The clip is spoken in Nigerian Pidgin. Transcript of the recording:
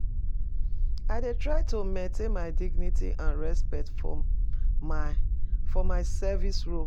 i dey try to maintain my dignity and respect for my for my service role.